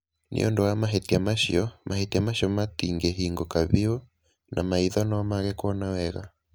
Nĩ ũndũ wa mahĩtia macio, mahĩtia macio matingĩhingũka biũ, na maitho no mage kuona wega.